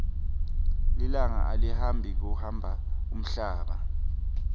lilanga alihambi kuhamba umhlaba